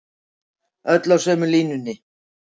Öll á sömu línunni